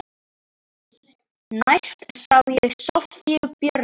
Næst sá ég Soffíu Björgu.